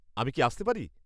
আমি কি আসতে পারি?